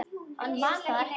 Hann man það ekki.